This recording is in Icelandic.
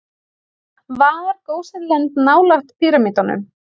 Var Gósenland nálægt píramídunum?